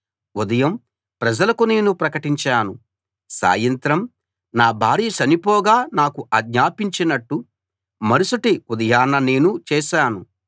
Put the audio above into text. ఉదయం ప్రజలకు నేను ప్రకటించాను సాయంత్రం నా భార్య చనిపోగా నాకు ఆజ్ఞాపించినట్టు మరుసటి ఉదయాన నేను చేశాను